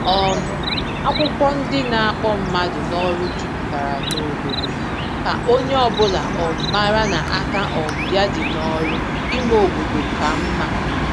um Akwụkwọ ndị na-akpọ mmadụ n’ọrụ juputara n'obodo, ka onye ọbụla um mara na aka um ya dị n’ọrụ ime obodo ka mma